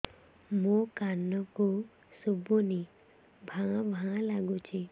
ମୋ କାନକୁ ଶୁଭୁନି ଭା ଭା ଲାଗୁଚି